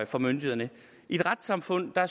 for myndighederne i et retssamfund